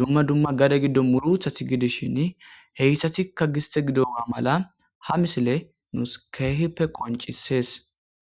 dumma dumma gade giddonni murutati gidishin heyissatikka gisite gidoga maalanni haa missileyi nusi kehippe qonccisess.